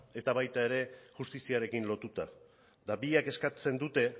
eta baita ere justiziarekin lotuta eta biek eskatzen dute